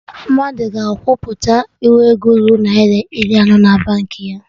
Mmadụ ga akwụpụta nwu ego ruru Naira iri anọ na Baankị ha